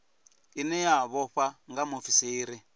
ine ya vhofha nga muofisiri